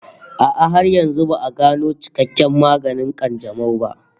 A'a, har yanzu ba'a gano cikakken maganin ƙanjamau ba